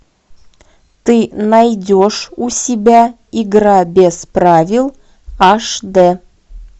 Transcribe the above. ты найдешь у себя игра без правил аш дэ